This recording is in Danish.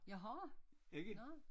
Jeg har nåh